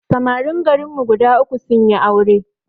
Samarin garin mu guda uku sunyi aure